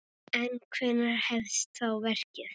En hvenær hefst þá verkið?